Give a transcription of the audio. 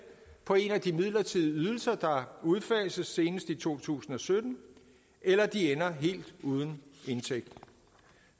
på en af de midlertidige ydelser der udfases senest i to tusind og sytten eller de ender helt uden indtægt